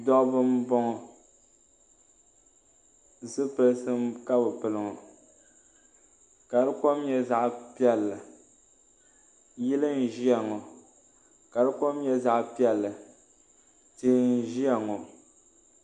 Dɔbba m bɔŋɔ zupilti ka bɛ pili ŋɔ ka di kom nyɛ zaɣ piɛlli yili ʒiya ŋɔ ka di kom nyɛ zaɣ piɛlli tihi ʒiya ŋɔ